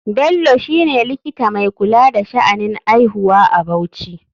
Bello shine likita mai kula da sha'anin aihuwa a bauchi.